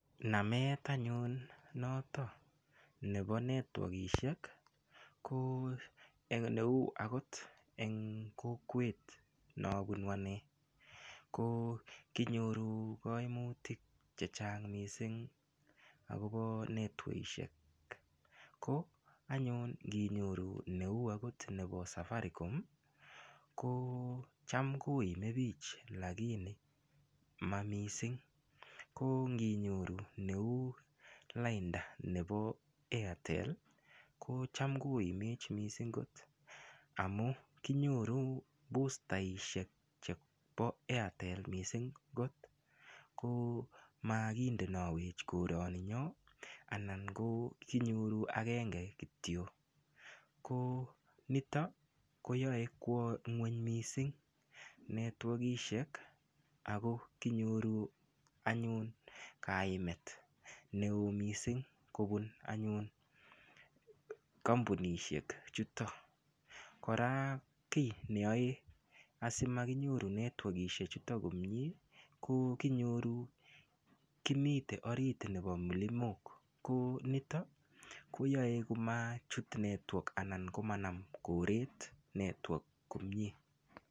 Namet anyun noto nebo netwokishek ko neu akot eng kokwet nobunu ane ko kinyoru koimutik che chang mising akobo netwokishek ko anyun nginyoru neu akot nebo safaricom ko cham koimen biich lakini mamising ko nginyoru neu lainda nebo airtel ko cham koimech kot mising amu kinyoru bustaishek chebo airtel mising kot makindenowech koroni nyo anan ko kinyoru akenge kityo ko nitok koyoe kwo ng'weny mising netwokishek ako kinyoru anyun kaimet neo mising kobun anyun kampunishek chuto kora kiy neyoe asimakinyoru netwokishek chuto komie ko kinyoru kimite orit nebo milimok ko nito koyoe komachut network anan komanam koret network komie.